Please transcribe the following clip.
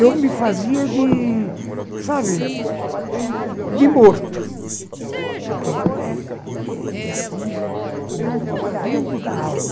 Eu me fazia de... sabe... de morto, porque eh te atinge no fundo da alma.